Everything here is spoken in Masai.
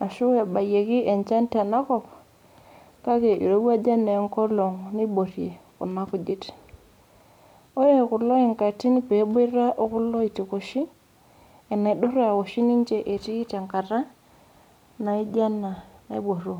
ashu ebayiekie enjan tenakop kake eirowuaja naa enkolog niborie Kuna kujit ore kulo enkatii pee eboita okulie oitikoshi enaidura oshi ninche etii tenkata niajio ena naiboru